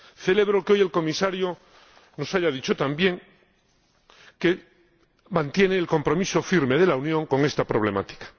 Celebro que hoy el Comisario nos haya dicho también que mantiene el compromiso firme de la Unión con esta problemática.